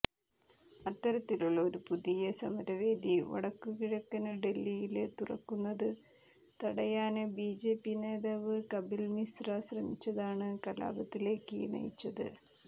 അത്തരത്തിലുള്ള ഒരു പുതിയ സമരവേദി വടക്കുകിഴക്കന് ഡല്ഹിയില് തുറക്കുന്നത് തടയാന് ബിജെപി നേതാവ് കപില് മിശ്ര ശ്രമിച്ചതാണ് കലാപത്തിലേക്ക് നയിച്ചത്